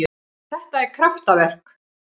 Þetta er kraftaverk.